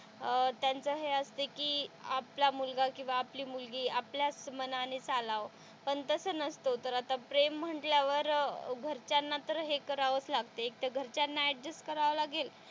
अह त्यांचं हे असंते कि आपला मुलगा किंवा आपली मुलगी आपल्याच मनाने चालावं पण तस नसतो तर आता प्रेम म्हंटल्यावर घराच्या ना तर हे करावाच लागते एकतर घरच्यांना अड्जस्ट करावं लागेल,